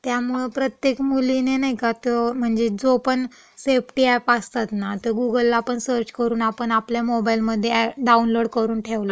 त्यामुळं प्रत्येक मुलीने नई का तो म्हणजे जो पण सेफ्टी अॅप असतात ना, तं गूगलला आपण सर्च करून आपण आपल्या मोबाइलमधे डाउनलोड करून ठेवलचं पाहिजे.